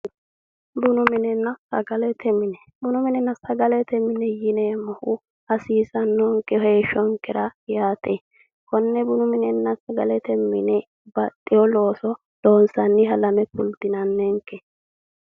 Bunu minenna sagalete mine bunu minenna sagalete mine yineemmohu hasiisannonke heeshshonkera yaate konne bunu minenna sagalete mine baxxeyo loooso loonsanniha lame kultinanninke?